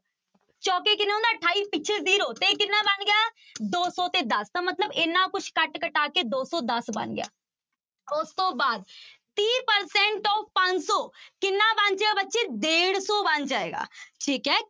ਚੋਕੇ ਕਿੰਨਾ ਹੁੰਦਾ ਅਠਾਈ ਪਿੱਛੇ zero ਤੇ ਕਿੰਨਾ ਬਣ ਗਿਆ ਦੋ ਸੌ ਤੇ ਦਸ ਤਾਂ ਮਤਲਬ ਇੰਨਾ ਕੁਛ ਕੱਟ ਕਟਾ ਕੇ ਦੋ ਸੌ ਦਸ ਬਣ ਗਿਆ, ਉਸ ਤੋਂ ਬਾਅਦ ਤੀਹ percent of ਪੰਜ ਸੌ ਕਿੰਨਾ ਬਣ ਗਿਆ ਬੱਚੇ ਡੇਢ ਸੌ ਬਣ ਜਾਏਗਾ, ਠੀਕ ਹੈ।